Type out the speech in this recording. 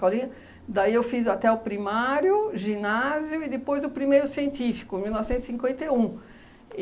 Daí eu fiz até o primário, ginásio e depois o primeiro científico, em mil novecentos e cinquenta e um.